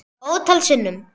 Ótal sinnum.